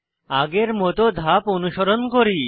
আগের মত ধাপ অনুসরণ করি